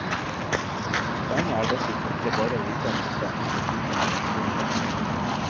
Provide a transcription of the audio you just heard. Poenget er dessuten ikke bare å vite en masse, men å bruke informasjonen riktig.